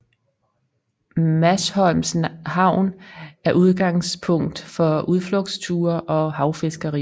Masholms havn er udgangspunkt for udflugtsture og havfiskeri